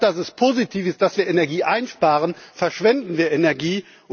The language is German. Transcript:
Statt dass es positiv ist, dass wir Energie einsparen, verschwenden wir Energie.